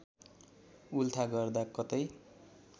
उल्था गर्दा कतै